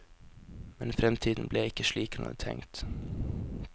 Men fremtiden ble ikke slik han hadde tenkt.